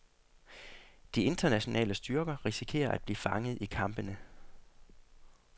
De internationale styrker risikerer at blive fanget i kampene.